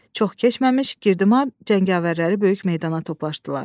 Çox keçməmiş Girdimar cəngavərləri böyük meydana toplaşdılar.